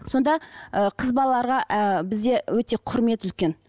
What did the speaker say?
сонда ііі қыз балаларға ііі бізде өте құрмет үлкен